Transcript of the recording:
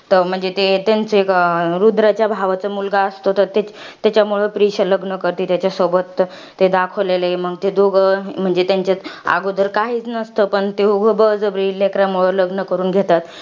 म्हणजे ते, त्यांचे रुद्रच्या भावाचा मुलगा असतो, तर त्याच्यामुळे प्रीशा लग्न करते त्याच्यासोबत. ते दाखवलेलं आहे. मंग ते दोघं, म्हणजे त्यांचात आगोदर काहीच नसतं, पण ते एवढं बळजबरी, लेकरानंमुळं लग्न करून घेतात.